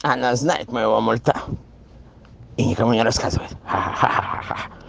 она знает моего мульта и никому не рассказывает ха-ха